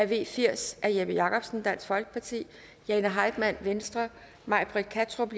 v firs af jeppe jakobsen jane heitmann may britt kattrup